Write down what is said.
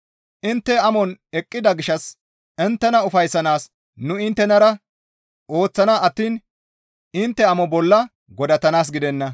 Intte ammanon eqqida gishshas inttena ufayssanaas nu inttenara ooththana attiin intte ammano bolla godatanaas gidenna.